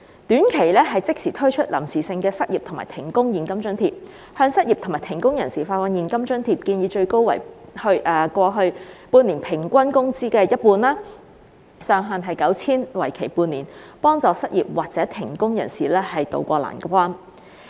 短期方面，政府應即時推出臨時性的失業和停工現金津貼，向失業和停工人士發放現金津貼，建議最高為過去半年每月平均工資的一半，上限 9,000 元，為期半年，協助失業或停工人士渡過難關。